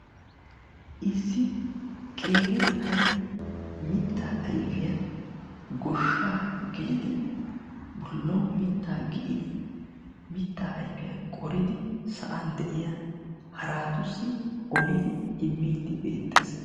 issi qeeri na'ay mitaa ayfiya goshaa gelidi bolawu mitaa gio'idi mitaa ayfiya qoridi sa'an de'iya haraatussi olidi imiidi beetees.